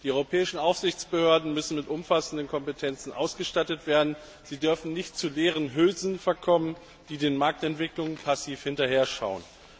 Die europäischen Aufsichtsbehörden müssen mit umfassenden Kompetenzen ausgestattet werden, sie dürfen nicht zu leeren Hülsen verkommen, die den Marktentwicklungen passiv hinterher schauen.